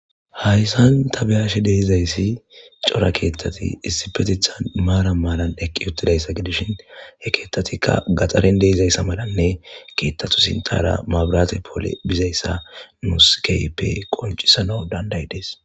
Haysan ta be'ashe dizaysi cora keethathi issipetetan maaran maaran equtidaysa gidishin he keethatika gaxaren dizaysa gidishin keethatu sinthara mabrate Poole dizaysa nus keehipe qoncisanas danda'idesko.